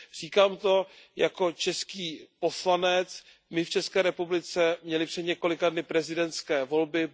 Říkám to jako český poslanec. My jsme v České republice měli před několika dny prezidentské volby.